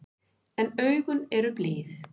En augun eru blíð.